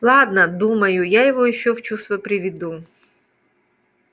ладно думаю я его ещё в чувство приведу